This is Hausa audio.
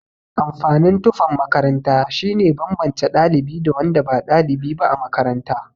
Amfanin tufan makaranta shine banbance ɗalibi da wanda ba ɗalibi ba a makaranta.